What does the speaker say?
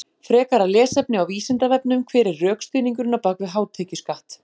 Frekara lesefni á Vísindavefnum: Hver er rökstuðningurinn á bak við hátekjuskatt?